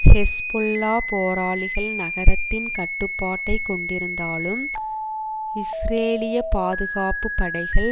Hezbollah போராளிகள் நகரத்தின் கட்டுப்பாட்டை கொண்டிருந்தாலும் இஸ்ரேலிய பாதுகாப்பு படைகள்